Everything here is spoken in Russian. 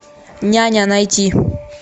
няня найти